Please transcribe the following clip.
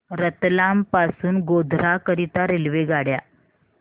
रतलाम पासून गोध्रा करीता रेल्वेगाड्या